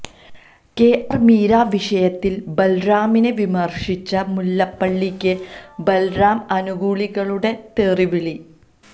KR Meera വിഷയത്തില് ബല്റാമിനെ വിമര്ശിച്ച മുല്ലപ്പള്ളിക്ക് ബല്റാം അനുകൂലികളുടെ തെറിവിളി